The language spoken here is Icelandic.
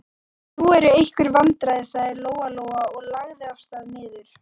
Nú eru einhver vandræði, sagði Lóa-Lóa og lagði af stað niður.